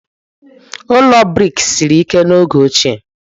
Ụlọ brik siri ike n'oge ochie.